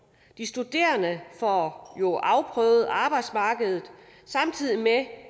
de studerende får jo afprøvet at arbejdsmarkedet samtidig med